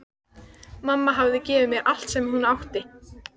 Mamma hafði gefið mér allt sem hún átti.